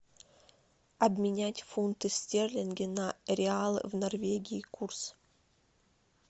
обменять фунты стерлинги на реалы в норвегии курс